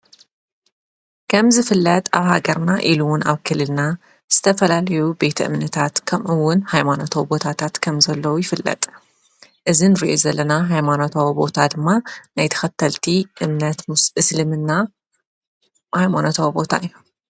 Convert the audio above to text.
ከምዝፍለጥ ኣብ ሃገርና ኢሉ ውን ኣብ ክልለና ዝተፈላልዩ ቤት እምነታት ከምኡውን ሃይማኖታዊ ቦታታት ከም ዘለዉ ይፍለጥ ፡፡እዚ ንሪኦ ዘለና ሃይማኖታዊ ቦታ ድማ ናይ ተኸተልቲ እምነት እስልምና ሃይሞኖታዊ ቦታ እዩ፡፡